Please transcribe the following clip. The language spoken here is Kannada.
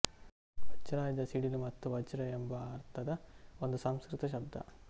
ವಜ್ರಾಯುಧ ಸಿಡಿಲು ಮತ್ತು ವಜ್ರ ಎಂಬ ಅರ್ಥದ ಒಂದು ಸಂಸ್ಕೃತ ಶಬ್ದ